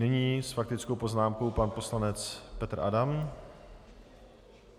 Nyní s faktickou poznámkou pan poslanec Petr Adam.